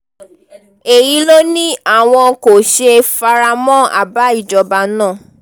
èyí ló ní àwọn kò ṣe fara mọ́ àbá ìjọba náà